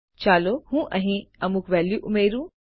ચાલો હું અહીં અમુક વેલ્યુ ઉમેરું